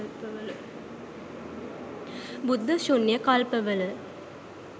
බුද්ධ ශුන්‍ය කල්පවල